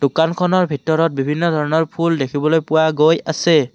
দোকানখনৰ ভিতৰত বিভিন্ন ধৰণৰ ফুল দেখিবলৈ পোৱা গৈ আছে।